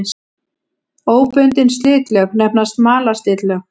Óbundin slitlög nefnast malarslitlög.